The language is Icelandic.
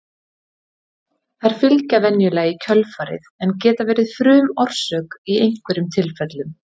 þær fylgja venjulega í kjölfarið en geta verið frumorsök í einhverjum tilfellum